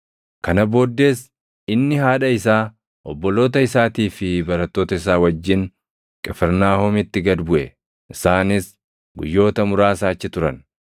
Kana booddees inni haadha isaa, obboloota isaatii fi barattoota isaa wajjin Qifirnaahomitti gad buʼe. Isaanis guyyoota muraasa achi turan.